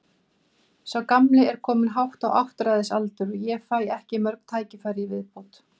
Sá gamli er kominn hátt á áttræðisaldur og ég fæ ekki mörg tækifæri í viðbót.